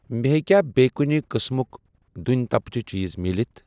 مےٚ ہیٚکیٛاہ بییٚہِ کُنہِ قٕسمُک دٔنؠ تپجہٕ چیٖز مِلِتھ؟